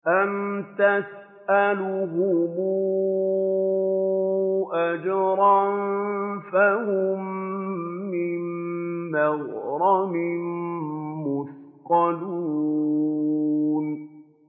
أَمْ تَسْأَلُهُمْ أَجْرًا فَهُم مِّن مَّغْرَمٍ مُّثْقَلُونَ